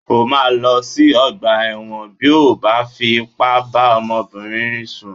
O máa lọ sí ọgbà ẹ̀wọ̀n bí ó bá fi ipá bá ọmọbìnrin sùn